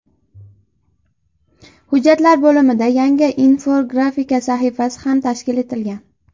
Hujjatlar bo‘limida yangi Infografika sahifasi ham tashkil etilgan.